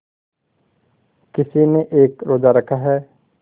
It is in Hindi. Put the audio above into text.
किसी ने एक रोज़ा रखा है